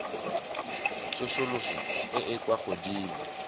tsosoloso e e kwa godimo